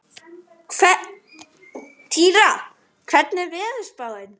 Týra, hvernig er veðurspáin?